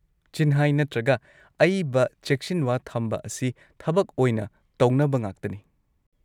ꯆꯤꯟꯍꯥꯏ ꯅꯠꯇ꯭ꯔꯒ ꯑꯏꯕ ꯆꯦꯛꯁꯤꯟꯋꯥ ꯊꯝꯕ ꯑꯁꯤ ꯊꯕꯛ ꯑꯣꯢꯅ ꯇꯧꯅꯕ ꯉꯥꯛꯇꯅꯤ꯫